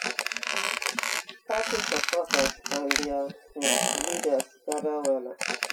party supporters and dia um leaders gather wella